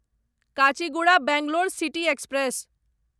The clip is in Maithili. Kachiguda Bangalore city express